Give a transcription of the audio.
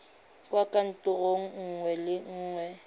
kwa kantorong nngwe le nngwe